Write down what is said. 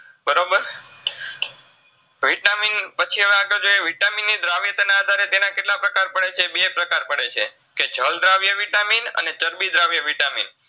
Vitamin પછી હવે અગડ જઈ Vitamin નું દ્રાવ્યતાના આધારે તેના કેટલા પ્રકાર પડેછે? બે પ્રકાર પડેછે, કે જળદ્રાવ્ય Vitamin અને ચરબીદ્રાવ્ય Vitamin